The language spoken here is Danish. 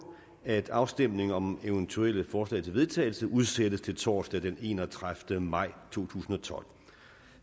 at afstemning om eventuelle forslag til vedtagelse udsættes til torsdag den enogtredivete maj to tusind og tolv